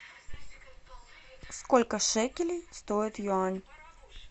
сколько шекелей стоит юань